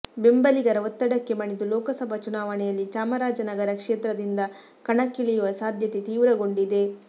ಬೆಂಬಲಿಗರ ಒತ್ತಡಕ್ಕೆ ಮಣಿದು ಲೋಕಸಭಾ ಚುನಾವಣೆಯಲ್ಲಿ ಚಾಮರಾಜನಗರ ಕ್ಷೇತ್ರದಿಂದ ಕಣಕ್ಕಿಳಿಯುವ ಸಾಧ್ಯತೆ ತೀವ್ರಗೊಂಡಿದೆ